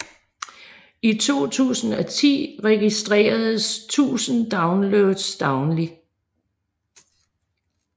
I 2010 registeredes 1000 downloads dagligt